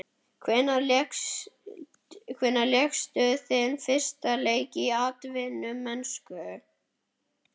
Hvenær lékstu þinn fyrsta leik í atvinnumennsku?